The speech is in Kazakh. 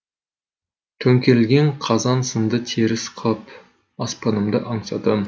төңкерілген қазан сынды теріс қып аспанымды аңсадым